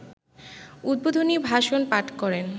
‘উদ্বোধনী ভাষণ’ পাঠ করেন